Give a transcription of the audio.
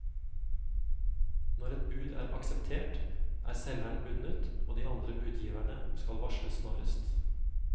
Når et bud er akseptert, er selgeren bundet, og de andre budgiverne skal varsles snarest.